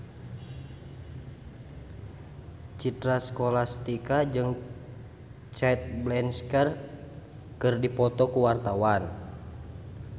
Citra Scholastika jeung Cate Blanchett keur dipoto ku wartawan